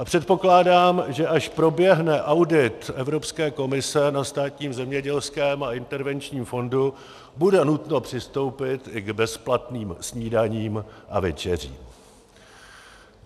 A předpokládám, že až proběhne audit Evropské komise na Státním zemědělském a intervenčním fondu, bude nutno přistoupit i k bezplatným snídaním a večeřím.